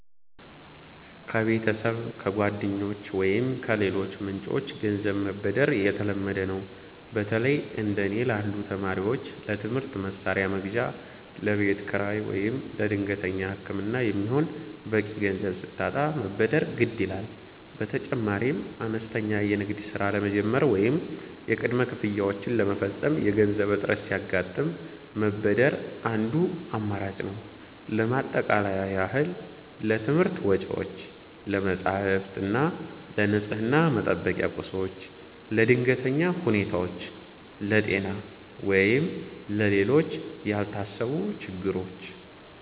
ከቤተሰብ፣ ከጓደኞች ወይም ከሌሎች ምንጮች ገንዘብ መበደር የተለመደ ነው። በተለይ እንደ እኔ ላሉ ተማሪዎች ለትምህርት መሣሪያ መግዣ፣ ለቤት ኪራይ ወይም ለድንገተኛ ሕክምና የሚሆን በቂ ገንዘብ ሲታጣ መበደር ግድ ይላል። በተጨማሪም አነስተኛ የንግድ ሥራ ለመጀመር ወይም የቅድመ ክፍያዎችን ለመፈጸም የገንዘብ እጥረት ሲያጋጥም መበደር አንዱ አማራጭ ነው። ለማጠቃለያ ያህል: ለትምህርት ወጪዎች፦ ለመጻሕፍት እና ለንፅህና መጠበቂያ ቁሶች። ለድንገተኛ ሁኔታዎች፦ ለጤና ወይም ለሌሎች ያልታሰቡ ችግሮች።